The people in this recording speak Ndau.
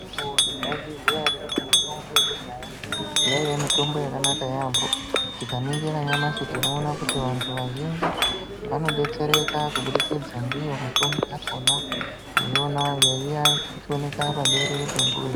Mwaizviziva here kuti mitombo yekudhaya yaiye mitombo yakanaka yaambo tikaningire nyamashi tinoona kuti vandu vazhinji vanobetsereka kubudikidza ndiyo mitombo yakona yona inooneka paberere rembuzi.